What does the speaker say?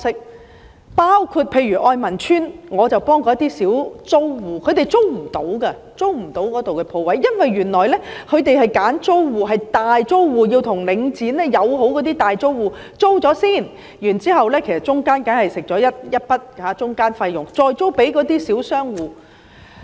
我曾經幫助例如愛民邨的小租戶，他們無法租用那裏的鋪位，因為原來領展會挑選大租戶，這些與領展友好的大租戶先向領展租賃商鋪——中間當然會收取一筆中間費用——然後再出租給小商戶。